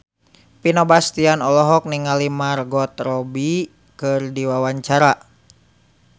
Vino Bastian olohok ningali Margot Robbie keur diwawancara